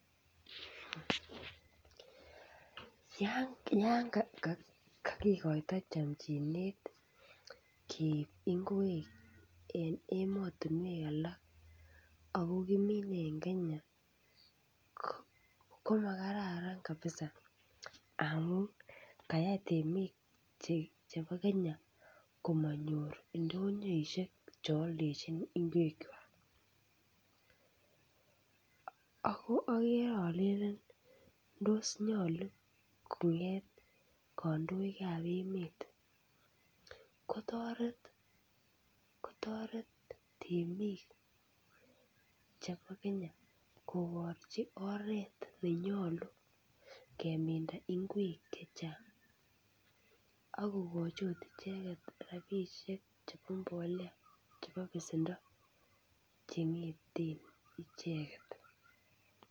Yaan kakikoito chamchinet keeib ngwek en emotinwek alak ako kiminye eng Kenya komakararan kabisa amu kayai temik chebo Kenya komanyor ndonyoishek cheoldojin ngwekwa. Ako akerealelen tos nyolu kong'et kandoikab emet kotoret kotoret temik chebo Kenya koborji oret nenyolu kemin ngwek chechang ako akot kokoji icheket rabiinik chebo mbolea chebo besendo cheng'eeten icheket.